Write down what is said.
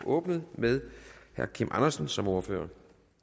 åbnet med herre kim andersen som ordfører